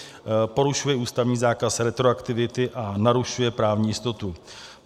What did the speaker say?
Porušuje ústavní zákaz retroaktivity a narušuje právní jistotu.